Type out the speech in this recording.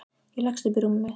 Ég leggst upp í rúmið mitt.